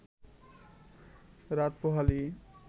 রাত পোহালেই